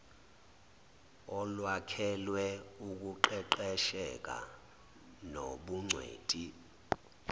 olwakhelwe ukuqeqesheka nobungcweti